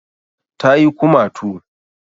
Ta yi kumatu